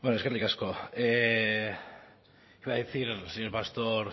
bueno eskerrik asko le iba a decir señor pastor